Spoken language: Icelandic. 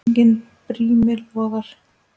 Enginn brími logar.